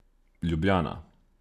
Ljubljana.